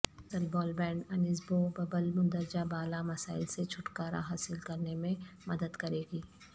اصل بال بینڈ انیسبوببل مندرجہ بالا مسائل سے چھٹکارا حاصل کرنے میں مدد کرے گی